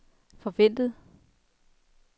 forventet